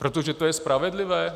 Protože to je spravedlivé?